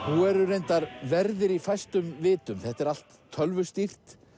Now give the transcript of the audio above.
nú eru reyndar verðir í fæstum vitum þetta er allt tölvustýrt